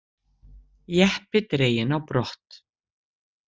Jeppi dreginn á brott